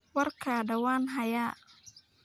Waarkada waan xaayaa.